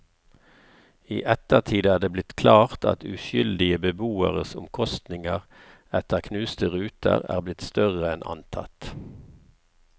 I ettertid er det blitt klart at uskyldige beboeres omkostninger etter knuste ruter er blitt større enn antatt.